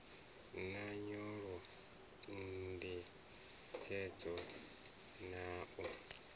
na nyolo ndingedzo na u